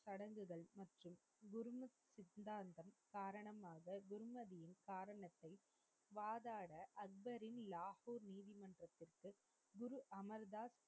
சித்தாந்தம் காரணமாக குர்மதியின் காரணத்தை வாதாட அக்பரின் லாகூர் நீதிமன்றத்திற்கு குரு அமர் தாஸ்,